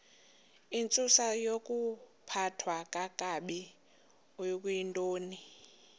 intsusayokuphathwa kakabi okuyintoni